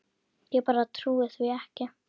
Ég bara trúi því ekki.